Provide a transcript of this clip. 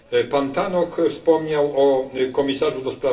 Pan Tannock wspomniał o Komisarzu